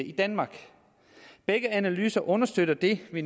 i danmark begge analyser understøtter det vi